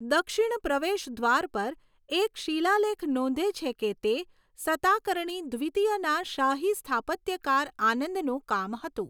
દક્ષિણ પ્રવેશદ્વાર પર એક શિલાલેખ નોંધે છે કે તે સતાકર્ણી દ્વિતીયના શાહી સ્થાપત્યકાર આનંદનું કામ હતું.